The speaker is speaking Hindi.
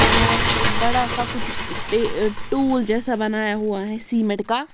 और एक बड़ा सा कुछ टे अह टूल जैसा बनाया हुआ है सीमेंट का।